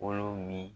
Kolo min